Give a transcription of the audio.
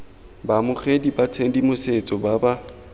baamogeding ba tshedimosetso ba ba